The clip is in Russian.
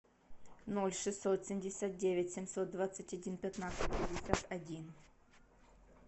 ноль шестьсот семьдесят девять семьсот двадцать один пятнадцать пятьдесят один